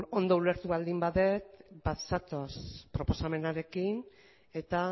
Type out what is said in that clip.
beno ondo ulertu baldin badut bat zatoz proposamenarekin eta